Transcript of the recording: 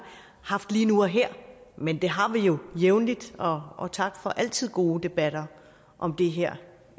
haft lige nu og her men det har vi jo jævnligt og og tak for altid gode debatter om det her